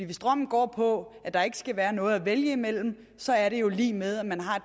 hvis drømmen går på at der ikke skal være noget at vælge imellem så er det jo lig med at man har